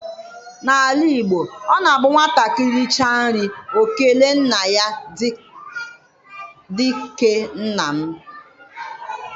Na ala Igbo, ọ na abụ nwatakịrị richa nri ọ kelee nna ya dike nna m.